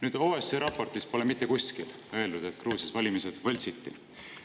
Nüüd, OSCE raportis pole mitte kuskil öeldud, et Gruusias valimised võltsiti.